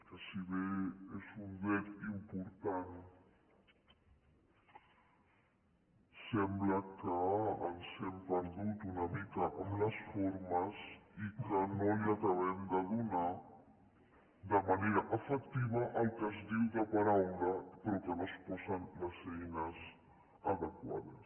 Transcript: que si bé és un dret important sembla que ens hem perdut una mica amb les formes i que no li acabem de donar de manera efectiva el que es diu de paraula però que no s’hi posen les eines adequades